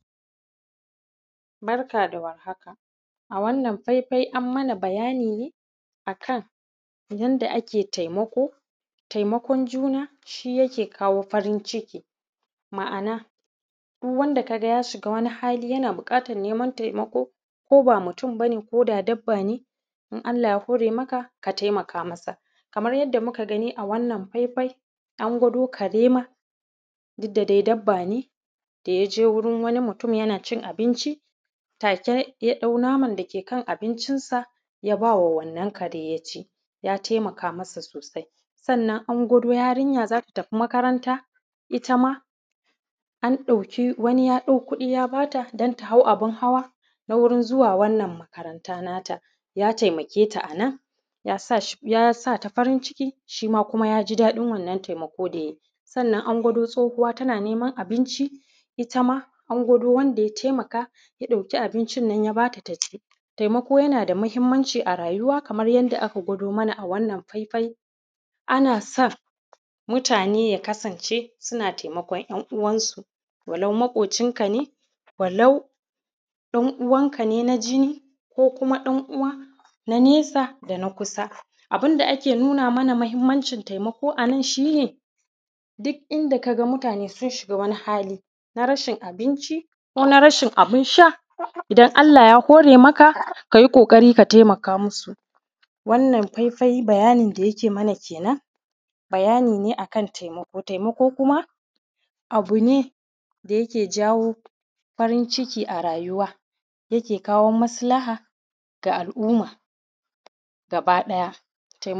Barka da warhaka a wannan faifai an yi ma bayani ne a kan taimako, ma’ana yanda yake bada dama a yi wasu abubuwa. A wannan faifai an gwado mana ne yanda za ka tsaya ka roƙi ubangiji akan wataƙila abun da ya fi ƙarfin ka ko akan abokingaban ka yanda idan ka roƙi ubangiji ze taimake ka akan wanna abun, sannna akwai damanmaki da dama kaman su in ka shiga wani hali ko ka shiga wani yanayi na damuwa zaka roƙi ubangiji akan wannan abun kuma ze iya kawo maka mafita ko maslaha kan wannan damuywa da ka shiga. Sannan haka idan kana buƙatan wani abu na rayuwa ko kana buƙatan ci gaba na rayuwa ko kana son ci gaba a wurin aikinka ko aikin ka kake nema ba ka samu ba, kowani kasuwanci kake yi kana neman ci gaba, wannan ma ana gwado da muatane cewa za ka iya tsayawa da ƙarfinka ka nema ubangiji ya ba ka dama ka tsaya da ƙarfink, aka nema haka in ka ma’ana haƙinka. Ma’ana abun da ze iya ze iya tsare maka mutuncinka sannan za ka kuma iya a inda ka gagara ko in ce inda ka gaza za ka iya tsayawa ka roƙi ubangijinka ka roƙi wanda kake bauta masa da ya taimake ka, ze iya kawo maka taimako akan abokin gabanka ze iya kawo maka taimaka ke ya kawo maka ɗauki akan abun da kake da buƙata